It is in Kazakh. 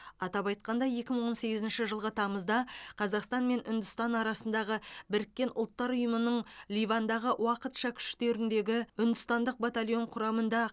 атап айтқанда екі мың он сегізінші жылғы тамызда қазақстан мен үндістан арасындағы біріккен ұлттар ұйымының ливандағы уақытша күштеріндегі үндістандық батальон құрамында